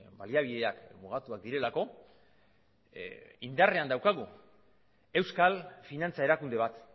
baliabideak mugatuak direlako indarrean daukagu euskal finantza erakunde bat